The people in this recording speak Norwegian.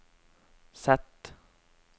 Z